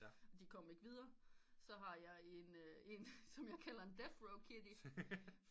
De kom ikke videre så har jeg en som jeg kalder en death row kitty